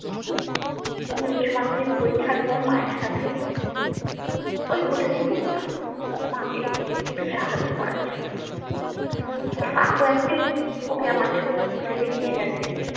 আমি উচ্চ মাধ্যমিক মা এর সাথে ওই হোটেল এই বসতাম মা কে একটু সাহায্য করার জন্য তো কাকু একদিন ওকে আমাদের হোটেল এ নিয়ে গেছে